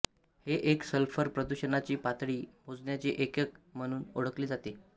हे एक सल्फर प्रदुषणाची पातळी मोजण्याचे एकक म्हणूनही ओळखले जाते